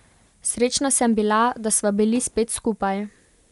Srečna sem bila, da sva bili spet skupaj.